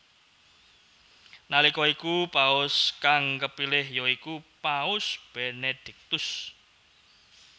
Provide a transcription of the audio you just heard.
Nalika iku paus kang kepilih ya iku Paus Benediktus